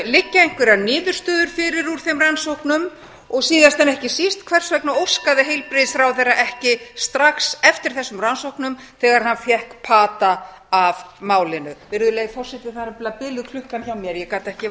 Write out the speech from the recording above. liggja einhverjar niðurstöður fyrir úr þeim rannsóknum og síðast en ekki síst hvers vegna óskaði heilbrigðisráðherra ekki strax eftir þessum rannsóknum þegar hann fékk pata af málinu virðulegi forseti það er nefnilega biluð klukkan hjá mér ég gat ekki